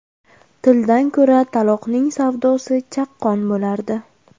Tildan ko‘ra taloqning savdosi chaqqon bo‘lardi.